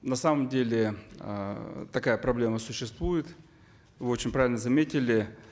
на самом деле эээ такая проблема существует вы очень правильно заметили